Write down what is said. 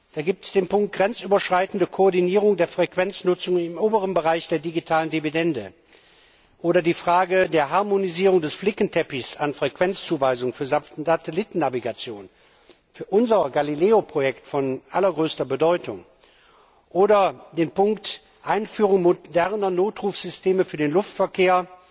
Da gibt es den Punkt Grenzüberschreitende Koordinierung der Frequenznutzung im oberen Bereich der digitalen Dividende oder die Frage der Harmonisierung des Flickenteppichs an Frequenzzuweisungen für Satellitennavigation für unser Galileo Projekt von allergrößter Bedeutung oder den Punkt Einführung moderner Notrufsysteme für den Luftverkehr,